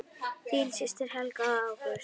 Þín systir Helga og Ágúst.